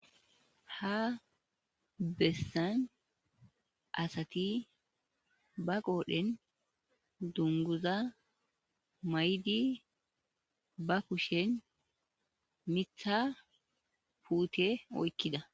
ha bessan asati ba qoodhen dunguza maydi ba pushen mitha puute oykkida